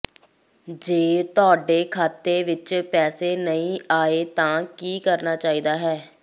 ਜੇ ਤੁਹਾਡੇ ਖਾਤੇ ਵਿੱਚ ਪੈਸੇ ਨਹੀਂ ਆਏ ਤਾਂ ਕੀ ਕਰਨਾ ਚਾਹੀਦਾ ਹੈ